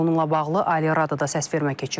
Bununla bağlı Ali Radoda səsvermə keçirilib.